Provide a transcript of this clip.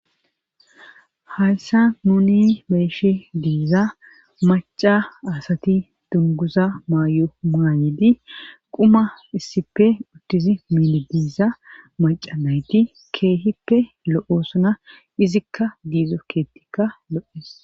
Hayssa nuunu be7ishe diiza macca asati dungguza mayo mayidi quma issippe uttizi miidi diza macca nayti keehippe lo7oosona izikka dizo keettikka lo7ees.